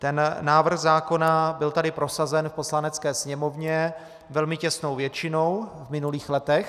Ten návrh zákona tady byl prosazen v Poslanecké sněmovně velmi těsnou většinou v minulých letech.